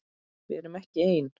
Við erum ekki ein.